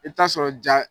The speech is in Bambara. I bɛ t'a sɔrɔ ja